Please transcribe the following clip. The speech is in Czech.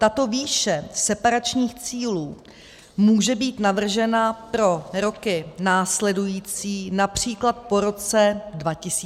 Tato výše separačních cílů může být navržena pro roky následující, například po roce 2030, 2035 a dále.